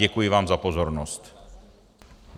Děkuji vám za pozornost.